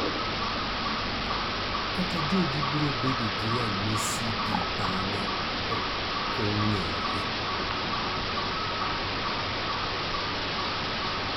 kata jogi biro bedo gi ranyisi gi bang'e ok ong'ere